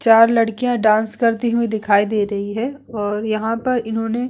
चार लड़कियां डान्स करती हुईं दिखाई दे रही है और यहाँ पर इन्होने --